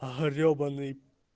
гребаный